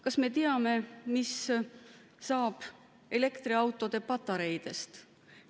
Kas me teame, mis saab elektriautode patareidest?